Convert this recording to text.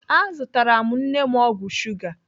Azụtara m nne m ọgwụ shuga.